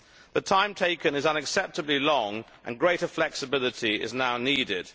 The time taken is unacceptably long and greater flexibility is now needed.